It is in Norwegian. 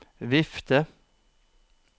vifte